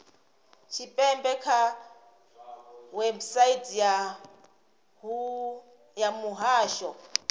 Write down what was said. tshipembe kha website ya muhasho